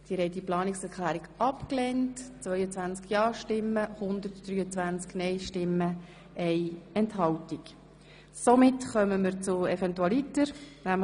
Sie haben den Bericht mit den angenommenen Planungserklärungen zur Kenntnis genommen.